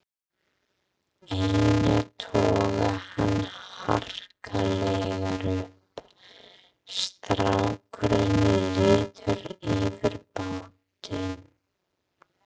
Einar togar hann harkalega upp, strákurinn lítur yfir bátinn